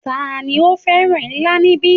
Tani ó fẹ́ràn ilá níbí